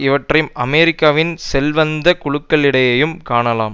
இவற்றை அமெரிக்காவின் செல்வந்த குழுக்களிடையேயும் காணலாம்